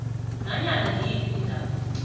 nanyana ngiyiphi indaba